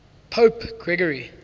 pope gregory